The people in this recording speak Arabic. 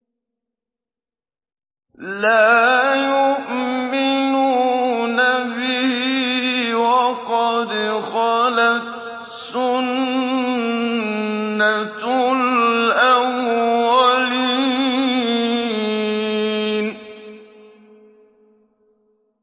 لَا يُؤْمِنُونَ بِهِ ۖ وَقَدْ خَلَتْ سُنَّةُ الْأَوَّلِينَ